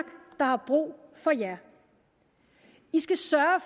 der har brug for jer i skal sørge